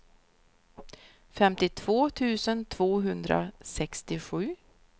femtiotvå tusen tvåhundrasextiosju